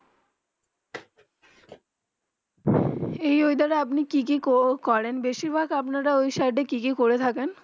যেই ওয়েদার. আপনি কি করেন বেশি ভাগ আপনা রা ও সাইড কি কি করেন থাকেন